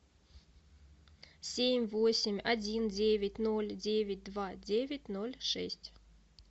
семь восемь один девять ноль девять два девять ноль шесть